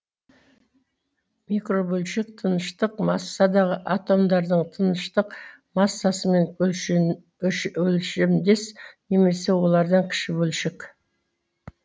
микробөлшек тыныштық массасы атомдардың тыныштық массасымен өлшемдес немесе олардан кіші бөлшек